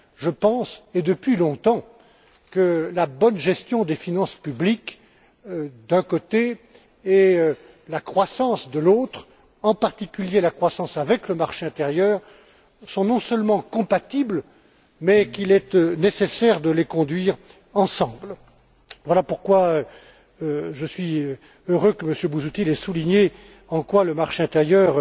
Je pense et depuis longtemps que la bonne gestion des finances publiques, d'un côté, et la croissance, de l'autre, en particulier la croissance avec le marché intérieur sont non seulement compatibles, mais qu'il est en outre nécessaire de les conduire ensemble. Voilà pourquoi je suis heureux que M. Busuttil ait souligné en quoi le marché intérieur